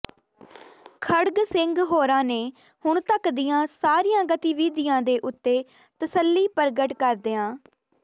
ਖੜਗ ਸਿੰਘ ਹੋਰਾਂ ਨੇ ਹੁਣ ਤੱਕ ਦੀਆਂ ਸਾਰੀਆਂ ਗਤੀਵਿਧੀਆਂ ਦੇ ਉਤੇ ਤਸੱਲੀ ਪ੍ਰਗਟ ਕਰਦਿਆਂ ਸ